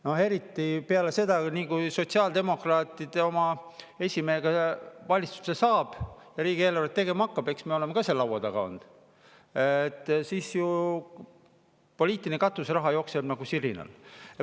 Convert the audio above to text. No eriti peale seda, kui sotsiaaldemokraadid oma esimehega valitsusse said ja riigieelarvet tegema hakkasid – eks me oleme ka seal laua taga olnud –, poliitiline katuseraha jookseb ju nagu sirinal.